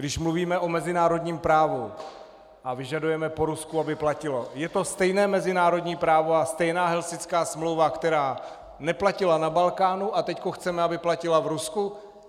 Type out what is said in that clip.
Když mluvíme o mezinárodním právu a vyžadujeme po Rusku, aby platilo, je to stejné mezinárodní právo a stejná Helsinská smlouva, která neplatila na Balkánu, a teď chceme, aby platila v Rusku?